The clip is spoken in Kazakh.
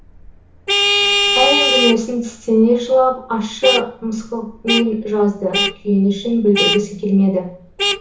әр әңгімесін тістене жылап ащы мысқылмен жазды күйінішін білдіргісі келмеді